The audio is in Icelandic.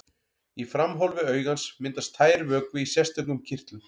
Í framhólfi augans myndast tær vökvi í sérstökum kirtlum.